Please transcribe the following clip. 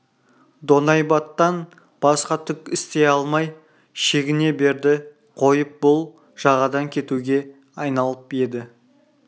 доңайбаттан басқа түк істей алмай шегіне берді қойып бұл жағадан кетуге айналып еді